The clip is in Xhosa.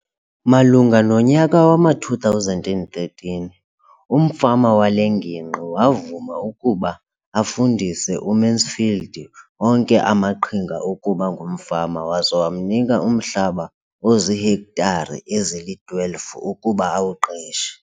Malunga nonyaka wama-2013, umfama wale ngingqi wavuma ukuba afundise uMansfield onke amaqhinga okuba ngumfama waza wamnika umhlaba ozihektare ezili-12 ukuba awuqeshe.